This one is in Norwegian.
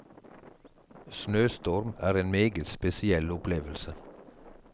Snøstorm er en meget spesiell opplevelse.